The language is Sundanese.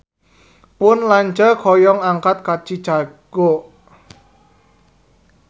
Pun lanceuk hoyong angkat ka Chicago